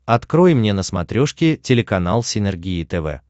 открой мне на смотрешке телеканал синергия тв